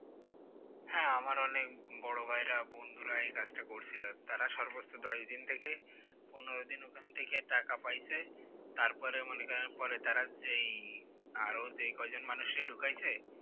হ্যাঁ আমার অনেক বড় ভাইয়েরা বন্ধুরা এই কাজটা করছিল আর কি তারা সর্বোচ্চ দশ দিন থেকে পনোরো দিন ওখান থেকে টাকা পাইছে তারপরে মনে করেন তারা যেই আরো যেই আরো কয়জন মানুষকে ঢুকাইছে